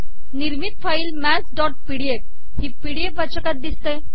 िनिमरत file ही PDF वाचकात िदसते